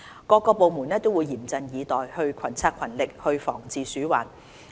各個部門會嚴陣以待、群策群力防治鼠患。